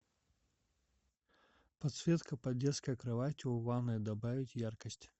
подсветка под детской кроватью в ванной добавить яркость